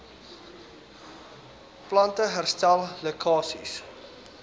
plante herstel lekkasies